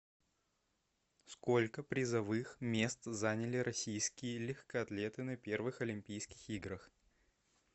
сколько призовых мест заняли российские легкоатлеты на первых олимпийских играх